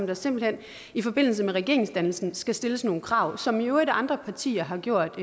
der simpelt hen i forbindelse med regeringsdannelsen skal stilles nogle krav som i øvrigt andre partier har gjort